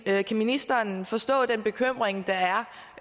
er kan ministeren forstå den bekymring der er